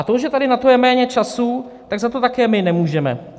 A to, že tady na to je méně času, tak za to my také nemůžeme.